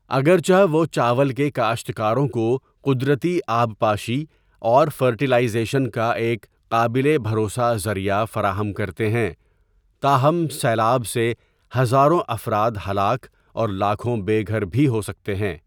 اگرچہ وہ چاول کے کاشتکاروں کو قدرتی آبپاشی اور فرٹیلائزیشن کا ایک قابل بھروسہ ذریعہ فراہم کرتے ہیں، تاہم سیلاب سے ہزاروں افراد ہلاک اور لاکھوں بے گھر بھی ہو سکتے ہیں۔